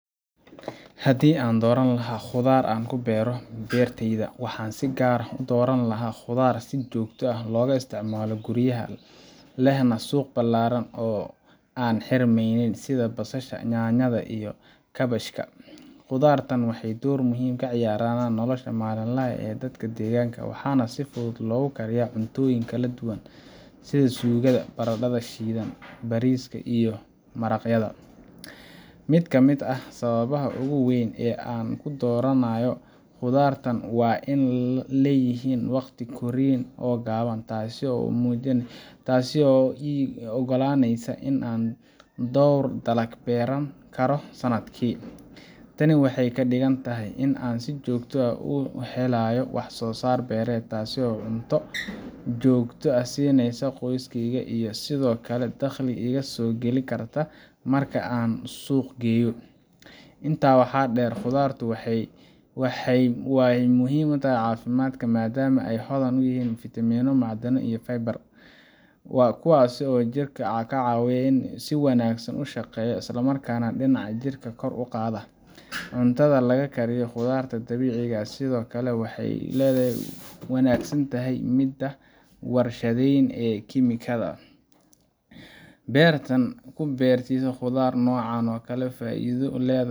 Haddii aan dooran lahaa khudaar aan ku beero beertayda, waxaan si gaar ah u dooran lahaa khudaar si joogto ah looga isticmaalo guryaha, lehna suuq ballaaran oo aan xirmaynin, sida basasha, yaanyada, iyo kaabashka. Khudaartan waxay door muhiim ah ka ciyaaraan nolosha maalinlaha ah ee dadka deegaanka, waxaana si fudud loogu kariyaa cuntooyin kala duwan sida suugada, baradhada shiidan, bariiska, iyo maraqyada. Mid ka mid ah sababaha ugu waaweyn ee aan u dooranayo khudaartan waa in ay leeyihiin waqti korriin oo gaaban, taas oo ii oggolaaneysa in aan dhowr dalag beeran karo sannadkii. Tani waxay ka dhigan tahay in aan si joogto ah u helayo wax-soo-saar beereed, taas oo cunto joogto ah siineysa qoyskeyga iyo sidoo kale dakhli iga soo geli kara marka aan suuq geeyo. Intaa waxaa dheer, khudaartu waxay muhiim u tahay caafimaadka, maadaama ay hodan ku yihiin fiitamiinno, macdano, iyo faybar, kuwaasoo jirka ka caawiya inuu si wanaagsan u shaqeeyo, islamarkaana difaaca jirka kor u qaada. Cuntada laga kariyo khudaarta dabiiciga ah sidoo kale waxay ka wanaagsan tahay midda warshadaysan ee kiimikada leh. Beerta ku beerida khudaar noocan okale faa’iido